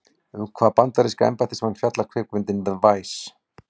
Um hvaða bandaríska embættismann fjallar kvikmyndin The Vice?